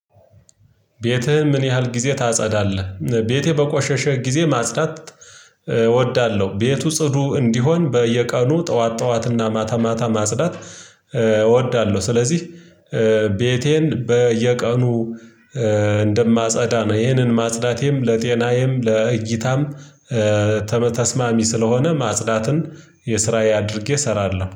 ቤትህ ምን ያህል ጊዜ ታጸዳለህ? ቤቴ በቆሸሸ ጊዜ ማጽዳት እወዳለሁ ቤቱ ጽዱ እንዲሆን በየቀኑ ጠዋት ጠዋትና ማታ ማታ ማጽዳት እወዳለሁ ስለዚህ ቤቴን በየቀኑ እንደማጸዳ ነው ይሄንን ማጽዳቴም ለጤናዬም ለእይታም ተስማሚ ስለሆነ ማጽዳትን የስራዬ አድርጌ እሰራለሁ